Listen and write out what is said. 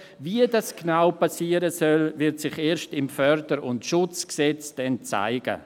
Wie dies genau geschehen soll, wird sich erst im FSG zeigen.